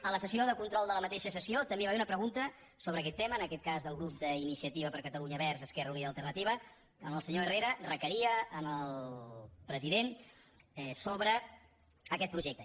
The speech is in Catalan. a la sessió de control de la mateixa sessió també hi va haver una pregunta sobre aquest tema en aquest cas del grup d’iniciativa per catalunya verds esquerra unida i alternativa on el senyor herrera requeria el president sobre aquest projecte